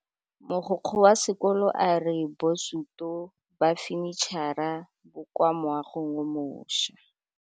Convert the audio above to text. Mogokgo wa sekolo a re bosutô ba fanitšhara bo kwa moagong o mošwa.